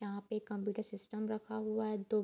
यहाँ पे computer system रखा हुआ है दो --